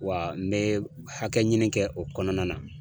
Wa n bɛ hakɛɲini kɛ o kɔnɔna na.